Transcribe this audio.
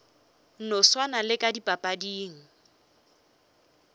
no swana le ka dipapading